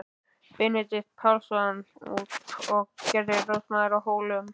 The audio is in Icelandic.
Benedikt Pálsson út og gerðist ráðsmaður að Hólum.